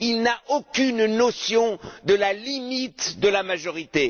Il n'a aucune notion de la limite de la majorité.